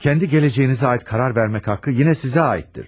Kəndi gələcəyinizə aid qərar vermək haqqı yenə sizə aiddir.